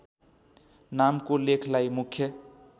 नामको लेखलाई मुख्य